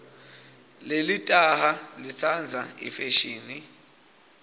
lelitaha litsandza ifeshini